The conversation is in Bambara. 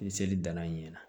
Ni seli danna ɲɛna